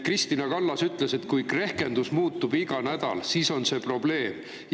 Kristina Kallas ütles: "Kui rehkendus muutub iga nädal, siis see on probleem.